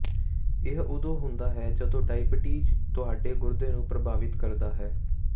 ਇਹ ਉਦੋਂ ਹੁੰਦਾ ਹੈ ਜਦੋਂ ਡਾਇਬੀਟੀਜ਼ ਤੁਹਾਡੇ ਗੁਰਦੇ ਨੂੰ ਪ੍ਰਭਾਵਿਤ ਕਰਦਾ ਹੈ